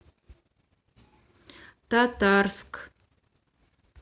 татарск